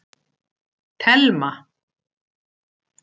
Telma